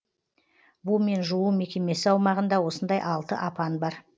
бумен жуу мекемесі аумағында осындай алты апан бар